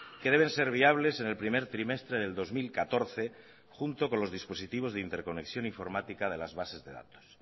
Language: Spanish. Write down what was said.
que deben ser viables en el primer trimestre del dos mil catorce junto con los dispositivos de interconexión informática de las bases de datos